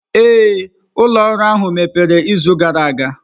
Ee, ụlọ ọrụ ahụ mepere izu gara aga.